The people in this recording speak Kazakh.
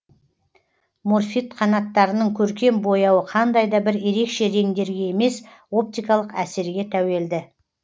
морфид қанаттарының көркем бояуы қандай да бір ерекше реңдерге емес оптикалық әсерге тәуелді